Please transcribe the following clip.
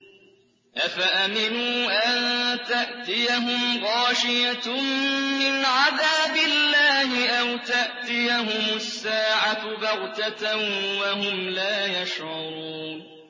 أَفَأَمِنُوا أَن تَأْتِيَهُمْ غَاشِيَةٌ مِّنْ عَذَابِ اللَّهِ أَوْ تَأْتِيَهُمُ السَّاعَةُ بَغْتَةً وَهُمْ لَا يَشْعُرُونَ